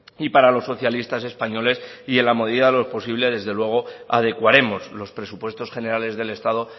y para los socialistas españoles y en la medida de lo posible desde luego adecuaremos los presupuestos generales del estado